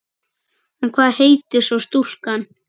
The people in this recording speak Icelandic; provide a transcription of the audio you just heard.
En hvað heitir svo stúlkan?